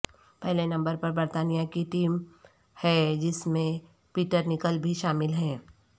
پہلے نمبر پر برطانیہ کی ٹیم ہے جس میں پیٹر نکل بھی شامل ہیں